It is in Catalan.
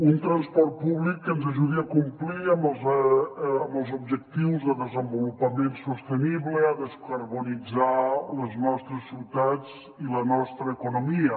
un transport públic que ens ajudi a complir amb els objectius de desenvolupament sostenible a descarbonitzar les nostres ciutats i la nostra economia